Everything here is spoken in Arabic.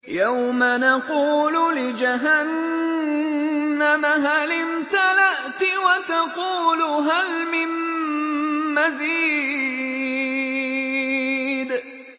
يَوْمَ نَقُولُ لِجَهَنَّمَ هَلِ امْتَلَأْتِ وَتَقُولُ هَلْ مِن مَّزِيدٍ